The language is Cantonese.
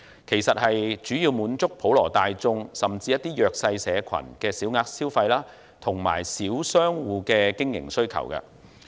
服務主要為滿足普羅大眾，甚至一些弱勢社群的小額消費和小商戶的經營需要。